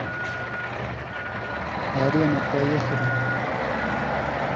арена поехали